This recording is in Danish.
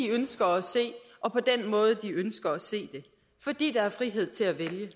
ønsker at se og på den måde de ønsker at se det fordi der er frihed til at vælge